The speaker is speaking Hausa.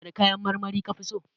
Wane kayan marmari kafi so?